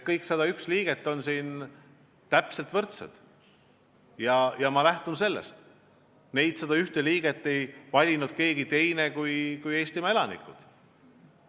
Kõik 101 liiget on võrdsed ja ma lähtun sellest, et neid 101 liiget ei valinud keegi teine kui Eestimaa elanikud.